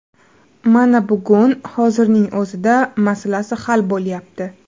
Mana bugun, hozirning o‘zida masalasi hal bo‘lyapti.